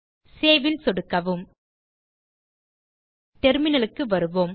save ல் சொடுக்கவும் டெர்மினல்க்கு வருவோம்